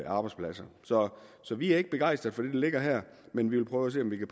arbejdspladser så vi er ikke begejstret for det der ligger her men vi vil prøve at se om vi kan